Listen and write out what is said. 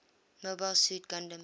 mobile suit gundam